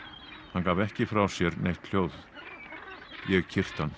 hann gaf ekki frá sér neitt hljóð ég kyrkti hann